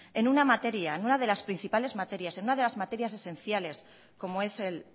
en una materia en una de las principales materias en una de las materias esenciales como es el